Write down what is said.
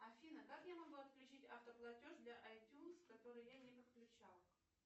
афина как я могу отключить авто платеж для айтюнс который я не подключала